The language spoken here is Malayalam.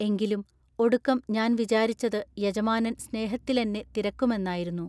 എങ്കിലും ഒടുക്കം ഞാൻ വിചാരിച്ചതു യജമാനൻ സ്നേഹത്തിലെന്നെ തിരക്കുമെന്നായിരുന്നു.